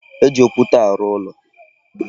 E ji okwute arụ ụlọ.